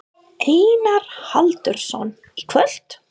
Einar Haraldsson: Í kvöld?